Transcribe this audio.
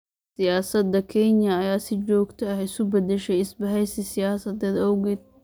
Siyaasadda Kenya ayaa si joogto ah isu beddeshay isbahaysi siyaasadeed awgeed.